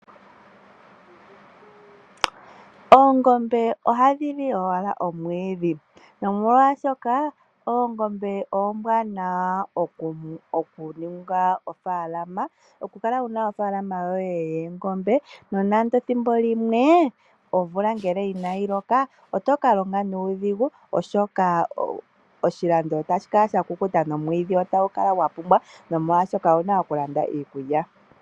Oongombe ohashili owala omwiidhi molwaashoka oongombe ombwaanawa okuninga oofaalama nokukala wuna oofaalama yoye yoongombe. Ethimbo limwe ngele omvula inayinloka oto kalonga nuudhigu oshoka oshilando otashikala shakukuta nomwiidhi otagu kala gwapumba molwaashoka owuna okulanda iikulya.